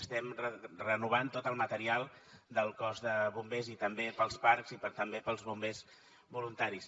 estem renovant tot el material del cos de bombers i també per als parcs i també per als bombers voluntaris